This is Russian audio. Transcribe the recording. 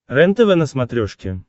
рентв на смотрешке